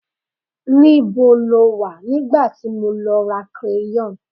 níbo lo wa nigba ti mo lọ ra crayon